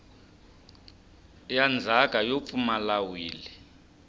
ya ndzhaka yo pfumala wili